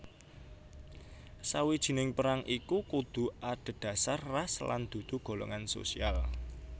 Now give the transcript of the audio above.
Sawijining perang iku kudu adhedhasar Ras lan dudu golongan sosial